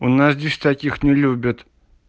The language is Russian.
у нас здесь таких не любят